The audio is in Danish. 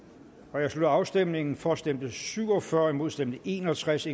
jeg slutter afstemningen for stemte syv og fyrre imod stemte en og tres